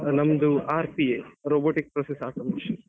ನಮ್ದು RPA robotics process automation.